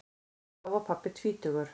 Þá var pabbi tvítugur.